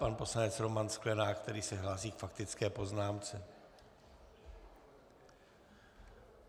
Pan poslanec Roman Sklenák, který se hlásí k faktické poznámce.